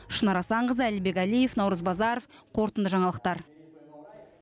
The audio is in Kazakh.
шынар асанқызы әлібек әлиев наурыз базаров қорытынды жаңалықтар